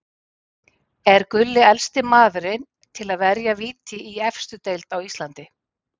Er Gulli elsti maðurinn til að verja víti í efstu deild á Íslandi?